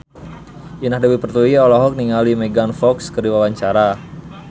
Indah Dewi Pertiwi olohok ningali Megan Fox keur diwawancara